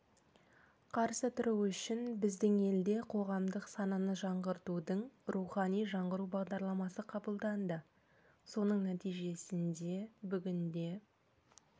қарсы тұру үшін біздің елде қоғамдық сананы жаңғыртудың рухани жаңғыру бағдарламасы қабылданды соның нәтижесінде бүгінде